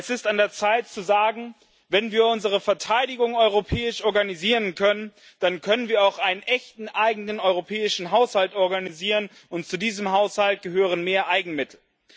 Es ist an der Zeit zu sagen Wenn wir unsere Verteidigung europäisch organisieren können, dann können wir auch einen echten eigenen europäischen Haushalt organisieren, und zu diesem Haushalt gehören mehr Eigenmittel.